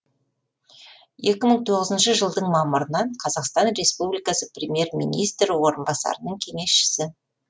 екі мың тоғызыншы жылдың мамырынан қазақстан республикасы премьер министрі орынбасарының кеңесшісі